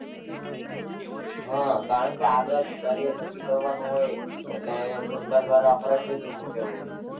હાં કારણકે આગળ career નક્કી કરવાનું હોય એટલે સરકાર દ્વારા ફરજિયાત જ મુકેલું હોય.